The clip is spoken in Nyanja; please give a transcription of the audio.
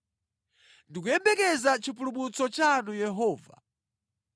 “Ndikuyembekeza chipulumutso chanu Yehova.